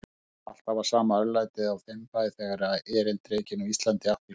Alltaf var sama örlætið á þeim bæ, þegar erindrekinn á Íslandi átti í hlut.